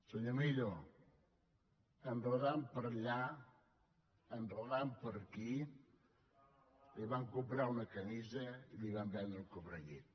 senyor millo enredant per allà enredant per aquí li van comprar una camisa i li van vendre un cobrellit